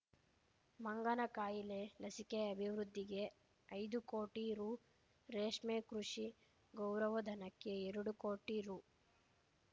ಮಂಗನಕಾಯಿಲೆ ಲಸಿಕೆ ಅಭಿವೃದ್ಧಿಗೆ ಐದು ಕೋಟಿ ರೂ ರೇಷ್ಮೆ ಕೃಷಿ ಗೌರವಧನಕ್ಕೆ ಎರಡು ಕೋಟಿ ರೂ